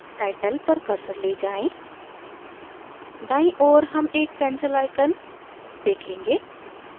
title पर cursor ले जाएँ दाईं ओर हम एक pencil icon देखेंगे